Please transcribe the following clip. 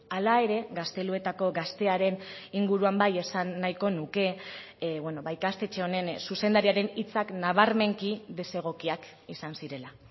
hala ere gazteluetako gaztearen inguruan bai esan nahiko nuke ba ikastetxe honen zuzendariaren hitzak nabarmenki desegokiak izan zirela